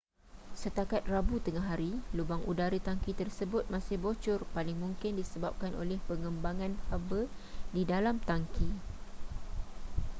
setakat rabu tengahari lubang udara tangki tersebut masih bocor paling mungkin disebabkan oleh pengembangan haba di dalam tangki